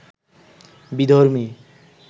বিধর্মী